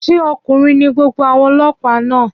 Ṣé ọkùnrin ní gbogbo àwọn ọlọ́pàá náà?